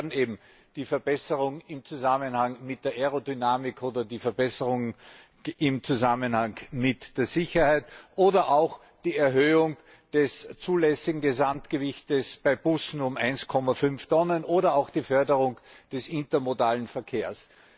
Dazu gehören eben die Verbesserungen im Zusammenhang mit der Aerodynamik oder die Verbesserungen im Zusammenhang mit der Sicherheit oder auch die Erhöhung des zulässigen Gesamtgewichts bei Bussen um 1,5 Tonnen oder auch die Förderung des intermodalen Verkehrs.